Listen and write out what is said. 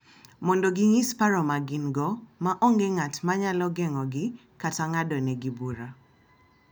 Mondo ginyis paro ma gin-go ma onge ng’at ma nyalo geng’ogi kata ng’adonegi bura.